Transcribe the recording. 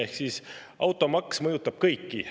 Ehk siis automaks mõjutab kõiki.